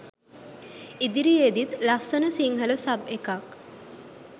ඉදිරියෙදිත් ලස්සන සින්හල සබ් එකක්